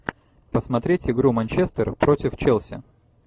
посмотреть игру манчестер против челси